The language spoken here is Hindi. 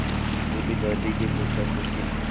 बूढ़ी दादी के पोतापोती